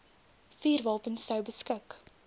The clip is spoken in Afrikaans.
vuurwapens sou beskik